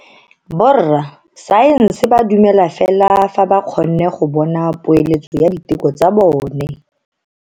Borra saense ba dumela fela fa ba kgonne go bona poeletso ya diteko tsa bone.